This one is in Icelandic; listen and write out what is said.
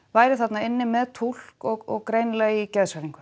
væri þarna inni með túlk og í geðshræringu